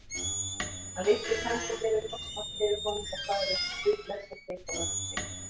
Hann lyfti upp hendi og gerði krossmark fyrir honum og sagði:-Guð blessi þig og verndi.